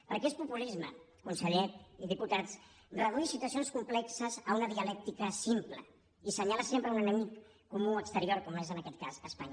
perquè és populisme conseller i diputats reduir situacions complexes a una dialèctica simple i assenyalar sempre un enemic comú exterior com és en aquest cas espanya